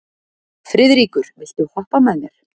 Friðríkur, viltu hoppa með mér?